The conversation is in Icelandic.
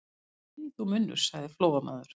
Þegi þú, munnur, sagði Flóamaður.